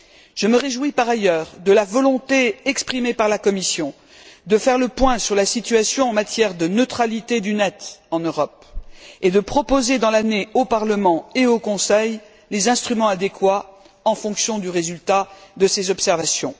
Je me réjouis par ailleurs de la volonté exprimée par la Commission de faire le point sur la situation en matière de neutralité du Net en Europe et de proposer dans l'année au Parlement et au Conseil les instruments adéquats en fonction du résultat de ces observations.